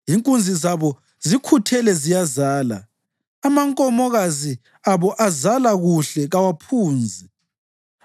Inkunzi zabo zikhuthele ziyazala; amankomokazi abo azala kuhle kawaphunzi.